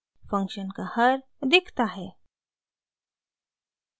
function का हर denominator दिखता है